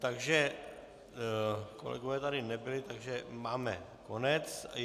Takže kolegové tady nebyli, takže máme konec.